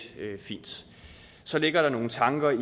fint så ligger der nogle tanker i